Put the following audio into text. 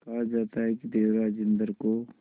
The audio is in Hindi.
कहा जाता है कि देवराज इंद्र को